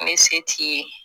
Ne se t'i ye